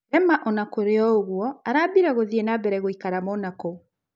Rema ona-kũrĩoũguo araatuire gũthiĩ nambere gũikara Monako.